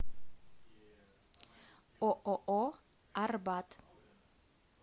ооо арбат